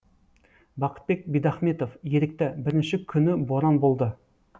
бақытбек бидахметов ерікті бірінші күні боран болды